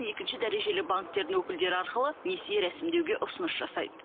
екінші дәрежелі банктердің өкілдері арқылы несие рәсімдеуге ұсыныс жасайды